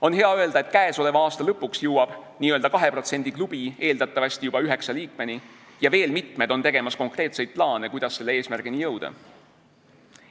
On hea öelda, et käesoleva aasta lõpuks jõuab n-ö 2% klubi eeldatavasti juba üheksa liikmeni ja veel mitmed on tegemas konkreetseid plaane, kuidas selle eesmärgini jõuda.